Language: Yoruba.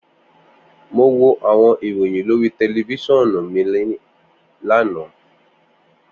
Mo wo awọn iroyin lori tẹlifisiọnu mi lana.